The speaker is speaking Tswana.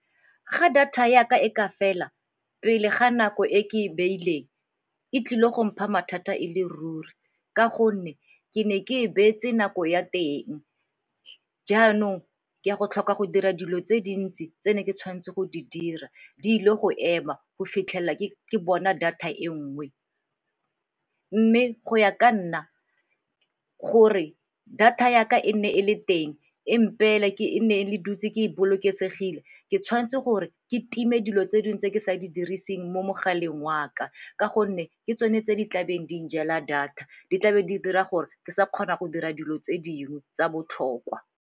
Ga data ya ka e ka fela pele ga nako e ke e beileng e tlile go mpha mathata e le ruri ka gonne ke ne ke e beetse nako ya teng. Jaanong ke a go tlhoka go dira dilo tse dintsi tse ne ke tshwanetse go di dira di ile go ema go fitlhelela ke bona data e nngwe. Mme go ya ka nna gore data ya ka e ne e le teng, e nne e le dutse ke bolokesegile ke tshwanetse gore ke time dilo tse dingwe tse ke sa di diriseng mo mogaleng wa ka ka gonne ke tsone tse di tlabeng di njela data, di tlabe di dira gore ke sa kgona go dira dilo tse dingwe tsa botlhokwa.